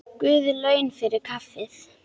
Guð laun fyrir kaffið.